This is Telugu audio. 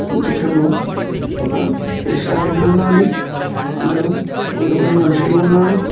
ఈ చిత్రంలో ఒక రెస్టారెంట్ ఉన్నాది అందులో కొంతమంది మనుషులు ఉన్నారు.